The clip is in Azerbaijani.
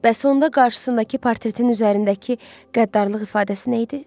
Bəs onda qarşısındakı portretin üzərindəki qəddarlıq ifadəsi nə idi?